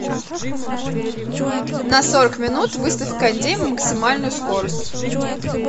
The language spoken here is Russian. на сорок минут выставь кондей максимальную скорость